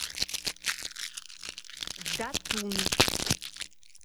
датун